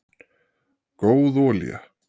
góð olía